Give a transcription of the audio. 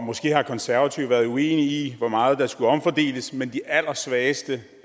måske har konservative været uenige i hvor meget der skulle omfordeles men de allersvageste